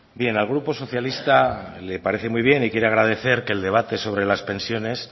bien al grupo socialista le parece muy bien y quiere agradecer que el debate sobre las pensiones